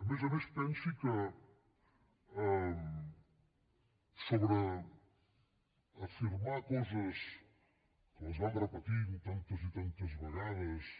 a més a més pensi que sobre afirmar coses que les van repetint tantes i tantes vegades